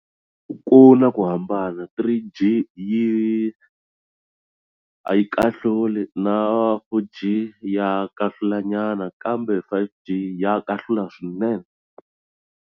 Ku na ku hambana three G yi a yi kahluli na four G ya kahlula nyana kambe five G ya kahlula swinene.